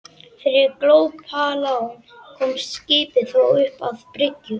Fyrir glópalán komst skipið þó upp að bryggju.